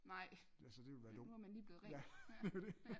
Nej nu var man lige blevet ren ja